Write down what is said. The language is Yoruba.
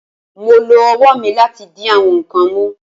Mo lo ọwọ mi lati di awọn nkan mu